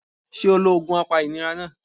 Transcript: Sé o lo òògùn apa ìnira náà